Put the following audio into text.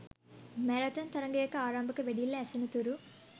marathon තරගයක ආරම්භක වෙඩිල්ල ඇසෙන තුරු